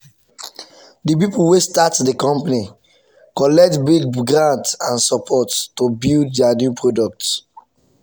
the people wey start the company collect big grant and support to build their new product.